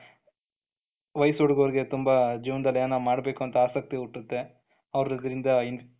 Wise ಹುಡುಗುರಗೆ ತುಂಬಾ ಜೀವನ್ದಲ್ಲಿ ಏನಾದ್ರೂ ಮಾಡಬೇಕು ಅಂತ ಆಸಕ್ತಿ ಹುಟ್ಟುತ್ತೆ ಅವಗರಿಂದ.